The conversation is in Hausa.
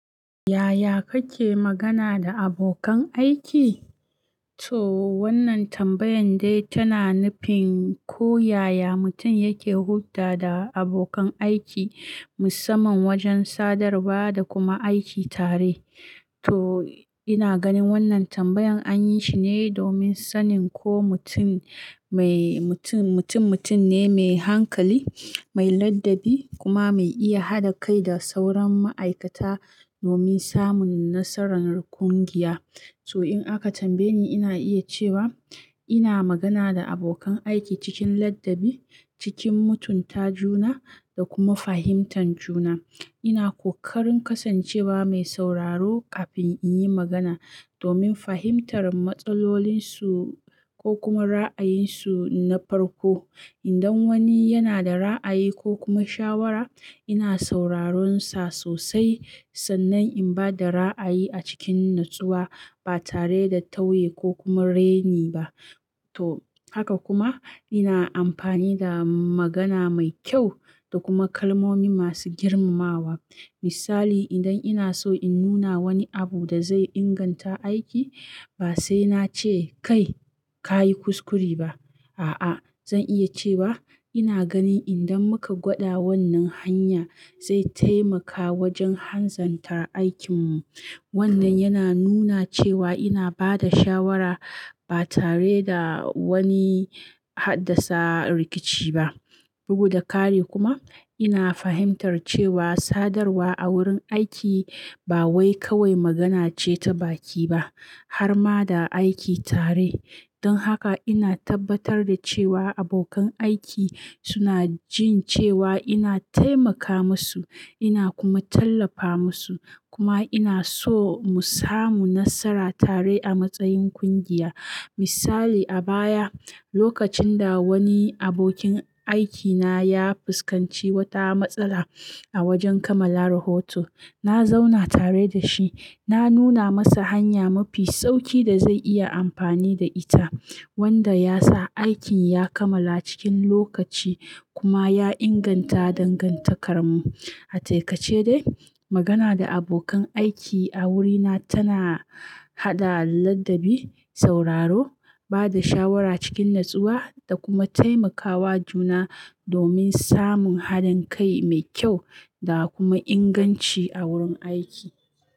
Yaya kake magana da abokan aiki? To wannan tambayan dai tana nufin ko yaya mutum yake hulɗa da abokan aiki musamman wajen sadarwa da kuma aiki tare. To ina ganin wannan tambayan anyi shi ne domin sanin ko mutum mai mutum, mutum mutum ne mai hankali, mai ladabi kuma mai iya haɗa kai da sauran ma'aikata domin samun nasarar ƙungiya. To in aka tambaye ni ina iya cewa ina magana da abokan aiki cikin ladabi, cikin mutunta juna da kuma fahimtar juna. Ina ƙoƙarin kasancewa mai sauraro kafin in yi magana domin fahimtar matsalolinsu ko kuma ra'ayinsu na farko. Idan wani yana da ra'ayi ko kuma shawara ina sauraron sa sosai sannan in ba da ra'ayi a cikin natsuwa ba tare da tauye ko kuma reni ba. To haka kuma ina amfani da magana mai kyau da kuma kalmomi masu girmamawa. Misali idan ina so in nuna wani abu da zai inganta aiki ba sai na ce "Kai ka yi kuskure ba" a'a zan iya cewa "ina ganin idan muka gwada wannan hanya zai taimaka wajen hanzantar aikinmu". Wannan yana nuna cewa ina ba da shawara ba tare da wani haddasa rikici ba. Bugu da ƙare kuma ina fahimtar cewa sadarwa a wurin aiki ba wai kawai magana ce ta baki ba harma da aiki tare. Don haka ina tabbatar da cewa abokan aiki suna jin cewa ina taimaka musu ina kuma tallafa musu kuma ina so mu samu nasara tare a matsayin ƙungiya. Misali a baya lokacin da wani abokin aikina ya fuskanci wata matsala a wajen kamala rahoto, na zauna tare da shi, na nuna masa hanya mafi sauƙi da zai iya amfani da ita wanda ya sa aikin ya kamala cikin lokaci kuma ya inganta dangantakar mu. A takaice dai magana da abokan aiki a wurina tana haɗa ladabi, sauraro, ba da shawara cikin natsuwa da kuma taimakawa juna domin samun haɗin kai mai kyau da kuma inganci a wurin aiki.